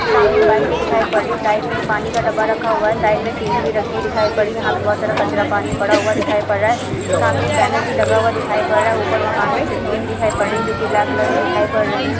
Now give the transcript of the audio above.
सामने एक बाइक भी दिखाई पड़ रही है। साइड में एक पानी का डब्बा रखा हुआ है साइड में टिन भी रखी दिखाई पड़ रही है। यहाँ पर बहोत सारा कचरा पानी पड़ा हुआ दिखाई पड रहा है। सामने एक बैनर भी लगा हुआ दिखाई पड़ रहा है ऊपर मकान में खिड़कियाँ भी दिखाई पड़ रही हैं जो कि ब्लैक कलर में दिखाई पड़ रही हैं।